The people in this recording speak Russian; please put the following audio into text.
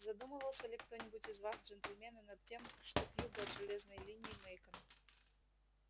задумывался ли кто-нибудь из вас джентльмены над тем что к югу от железной линии мейкон